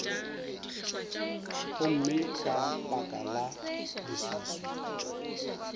gomme ka baka la leswiswi